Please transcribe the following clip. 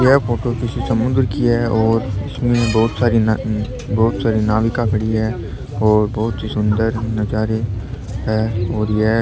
यह फोटो किसी समुद्र की है और इसमें बहुत सारी बहुत सारी नाविका पड़ी है और बहुत ही सुन्दर नज़ारे है और यह --